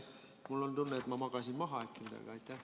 Mul on tunne, et ma magasin äkki midagi maha.